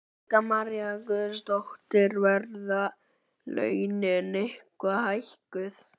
Helga María Guðmundsdóttir: Verða launin eitthvað hækkuð?